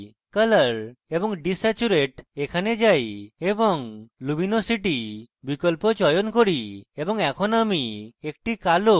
এখন আমি colour এবং desaturate a যাই এবং luminosity বিকল্প চয়ন করি এবং এখন আমি একটি কালো এবং সাদা image পাই